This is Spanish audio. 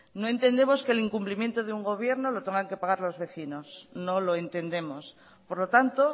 no entendemos que el incumplimiento de un gobierno lo tengan que pagar los vecinos no lo entendemos por lo tanto